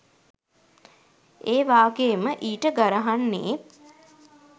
ඒ වාගේ ම ඊට ගරහන්නේත්